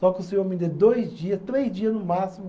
Só que o senhor me dê dois dias, três dias no máximo.